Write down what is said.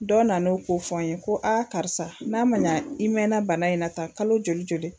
Dɔ nana n'o k'o fɔ n ye ko aa karisa n'a ma ɲa i mɛnna bana in na tan kalo joli joli